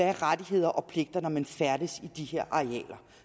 er rettigheder og pligter når man færdes i de her arealer